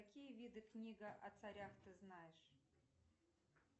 какие виды книга о царях ты знаешь